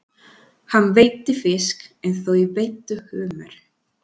Hann veiddi fisk en þau veiddu humar.